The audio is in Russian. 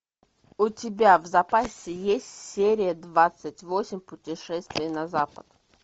у тебя в запасе есть серия двадцать восемь путешествие на запад